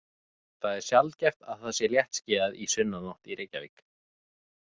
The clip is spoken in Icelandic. Það er sjaldgæft að það sé léttskýjað í sunnanátt í Reykjavík.